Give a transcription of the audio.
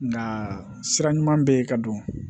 Nka sira ɲuman bɛ ye ka don